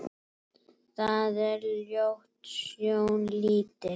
Það er ljót sjón lítil.